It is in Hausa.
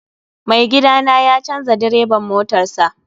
Mai gida na ya canza direban motarsa.